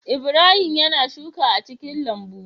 Ibrahim yAna shuka a cikin lambu